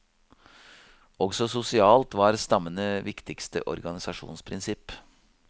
Også sosialt var stammene viktigste organisasjonsprinsipp.